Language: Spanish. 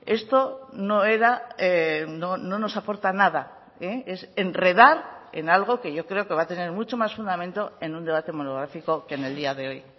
esto no era no nos aporta nada es enredar en algo que yo creo que va a tener mucho más fundamento en un debate monográfico que en el día de hoy